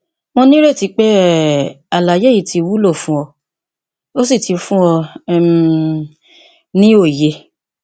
mo nírètí pé um àlàyé yìí ti wúlò fún ọ ó sì ti fún ọ um ní òye